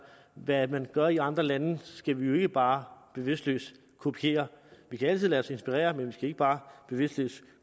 hvad man gør i andre lande skal vi jo ikke bare bevidstløst kopiere vi kan altid lade os inspirere men vi skal ikke bare bevidstløst